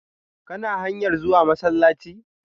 Kana hanyar zuwa masallaci?